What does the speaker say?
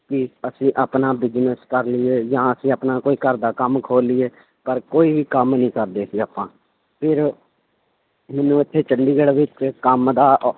ਕਿ ਅਸੀਂ ਆਪਣਾ business ਕਰ ਲਈਏ ਜਾਂ ਅਸੀਂ ਆਪਣਾ ਕੋਈ ਘਰਦਾ ਕੰਮ ਖੋਲ ਲਈਏ ਪਰ ਕੋਈ ਵੀ ਕੰਮ ਨੀ ਕਰਦੇ ਸੀ ਆਪਾਂ ਫਿਰ ਮੈਨੂੰ ਉੱਥੇ ਚੰਡੀਗੜ੍ਹ ਵਿੱਚ ਕੰਮ ਦਾ